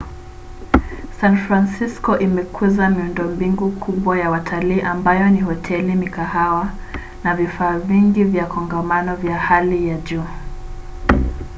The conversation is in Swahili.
san francisko imekuza miundombinu kubwa ya watalii ambayo ni hoteli mikahawa na vifaa vingi vya kongamano vya hali ya juu